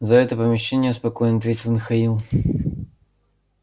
за это помещение я спокоен ответил михаил